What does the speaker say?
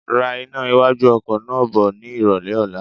Ra iná iwájú ọkọ̀ náà bọ ni ìrólé ọ̀la.